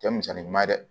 Cɛ misali ɲuman ye dɛ